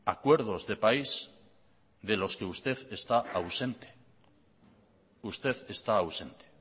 acuerdos de país de los que usted está ausente usted está ausente